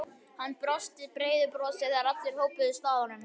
Hann brosti breiðu brosi þegar allir hópuðust að honum.